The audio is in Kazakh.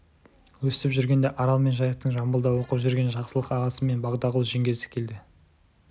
өстіп жүргенде арал мен жайықтың жамбылда оқып жүрген жақсылық ағасы мен бағдагүл жеңгесі келді